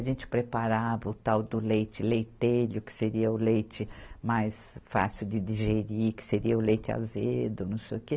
A gente preparava o tal do leite leitelho, que seria o leite mais fácil de digerir, que seria o leite azedo, não sei o quê.